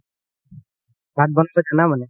ভাত বনাই গেলা মানে